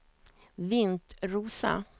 Vintrosa